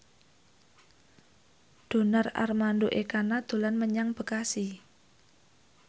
Donar Armando Ekana dolan menyang Bekasi